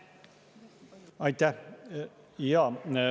Aitäh!